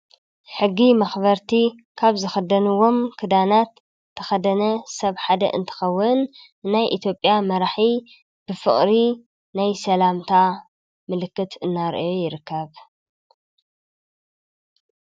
ሕጊ መኽበርቲ ካብ ዝክደንዎም ክዳናት እተኸደነ ሰብ ሓደ እንትከውን ናይ ኢትዮጵያ መራሒ ብፍቅሪ ናይ ሰላምታ ምልክት እናራአየ ይርከብ።